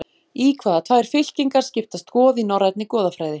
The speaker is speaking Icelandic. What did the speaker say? Í hvaða tvær fylkingar skiptast goð í norrænni goðafræði?